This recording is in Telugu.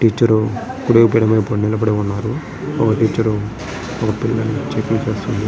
టీచర్ కుడి వైపు నిలబడి ఉన్నారు. ఒక టీచర్ చెకింగ్ చేస్తుంది.